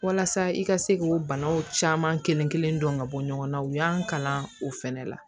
Walasa i ka se k'o banaw caman kelenkelen dɔn ka bɔ ɲɔgɔn na u y'an kalan o fɛnɛ la